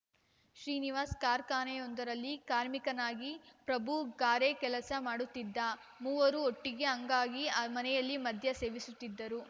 ಶ್ರೀನಿವಾಸ್‌ ಕಾರ್ಖಾನೆಯೊಂದರಲ್ಲಿ ಕಾರ್ಮಿಕನಾಗಿಪ್ರಭು ಗಾರೆ ಕೆಲಸ ಮಾಡುತ್ತಿದ್ದ ಮೂವರು ಒಟ್ಟಿಗೆ ಅಂಗಾಗ್ಗಿ ಮನೆಯಲ್ಲಿ ಮದ್ಯ ಸೇವಿಸುತ್ತಿದ್ದರು